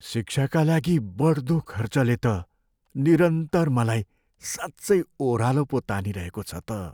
शिक्षाका लागि बढ्दो खर्चले त निरन्तर मलाई साँच्चै ओह्रालो पो तानिरहेको छ त।